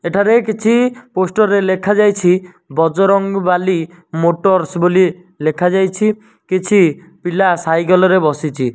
ଏଠାରେ କିଛି ପୋଷ୍ଟ ରେ ଲେଖାଯାଇଛି ବରଙ୍ଗବାଲି ମୋଟର୍ସ ବୋଲି ଲେଖାଯାଇଛି କିଛି ପିଲା ସାଇକ ରେ ବସିଛ।